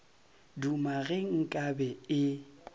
duma ge nka be e